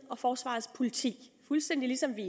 og forsvarets politi fuldstændig ligesom vi